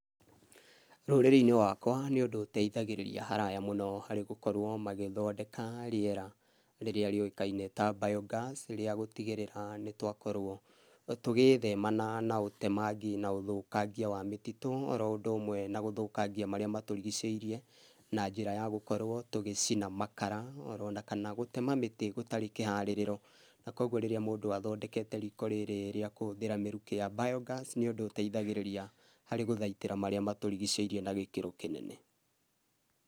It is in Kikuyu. Rũrĩrĩ-inĩ rwakwa nĩ ũndũ ũteithagĩrĩria haraya mũno harĩ gũkorwo magĩthondeka rĩera rĩrĩa rĩũĩkaine ta biogas rĩa gũtigĩrĩra nĩ twakorwo tũgĩthema na ũtemangi na ũthũkangia wa mĩtitũ na ũndũ ũmwe na ũthũkangia marĩa matũrigicĩire na njĩra ya gũkorwo tũgĩcina makara kana gũtema mĩtĩ gũtarĩ kĩharĩrĩro, na koguo rĩrĩa mũndũ athondekete riko rĩrĩ rĩa kũhũthĩra mĩrukĩ ya biogas nĩ ũndũ ũteithagĩrĩria harĩ gũthaitĩra marĩa matũrigicĩirie na gĩkĩro kĩnene.